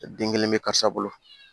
Den kelen bɛ karisa bolo